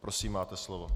Prosím, máte slovo.